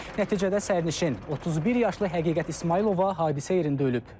Nəticədə sərnişin 31 yaşlı Həqiqət İsmayılova hadisə yerində ölüb.